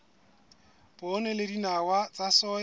poone le dinawa tsa soya